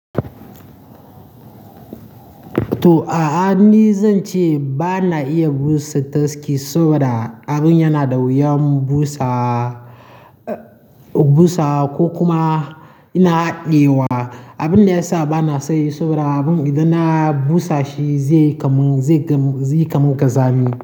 To, a'a ni zan ce ba na iya busa taski saboda abin yana da wuyan busa, busa ko kuma ina haɗe wa. Abin da ya sa ba na son yi saboda abin idan na busa shi zai kamu, zai kamu, zai kamu ƙazami.